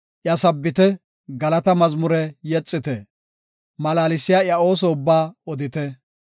Iya sabbite; galata mazmure yexite; malaalsiya iya ooso ubbaa odite.